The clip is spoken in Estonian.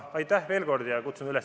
Aitäh veel kord!